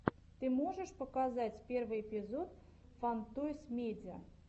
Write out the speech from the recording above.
ты можешь показать первый эпизод фан тойс медиа